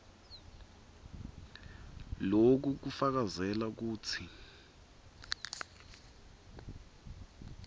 loku kufakazela kutsi